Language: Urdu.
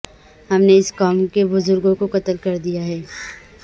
ہم نے اس قوم کے بزرگوں کو قتل کر دیا ہے